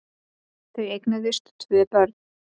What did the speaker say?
Þau eignuðust tvö börn.